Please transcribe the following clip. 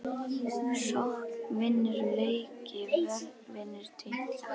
Sókn vinnur leiki vörn vinnur titla???